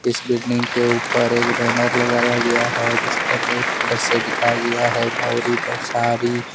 इस बिल्डिंग के ऊपर एक बैनर लगाया गया हैजिस पर रेड कलर से दिखाया गया है गौरी द सारी --